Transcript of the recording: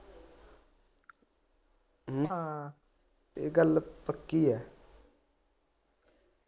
ਇਹ ਗੱਲ ਪੱਕੀ ਏ।